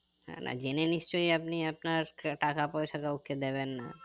না না জেনে নিশ্চয় আপনি আপনার টাকা পয়সা কাউকে দেবেন না